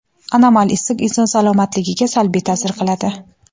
anomal issiq inson salomatligiga salbiy ta’sir qiladi.